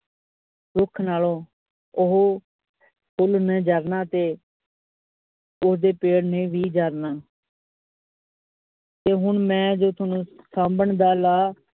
ਰੁੱਖ ਨਾਲੋਂ ਓਹੋ ਫੁੱਲ ਨੇ ਜਾਗਣਾ ਤੇ ਉਸਦੇ ਪੇਡ ਨੇ ਭੀ ਜਾਗਣਾ ਤੂੰ ਹੁਣ ਮੈ ਜੋ ਸੋਨੂ ਸਾਂਭਣ ਦਾ ਲਾ